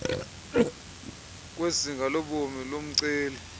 kwezinga lobom lomceli